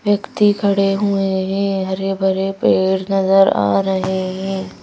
व्यक्ति खड़े हुए हैं हरे भरे पेड़ नजर आ रहे हैं।